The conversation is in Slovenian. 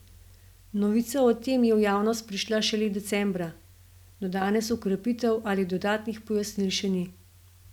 Novica o tem je v javnost prišla šele decembra, do danes ukrepov ali dodatnih pojasnil še ni.